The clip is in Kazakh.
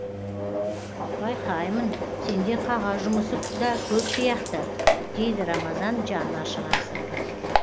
байқаймын сенде қағаз жұмысы да көп сияқты дейді рамазан жаны ашығансып